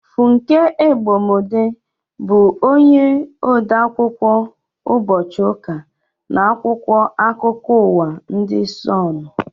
Funke Egbemode bụ onye ode akwụkwọ ụbọchị ụka n' akwụkwọ akụkọ ụwa ndị Sonu